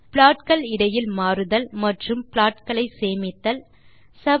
plot கள் இடையில் மாறுதல் மற்றும் ப்ளாட் களை சேமித்தல் போன்ற சில வேலைகளை அவற்றில் செய்தல்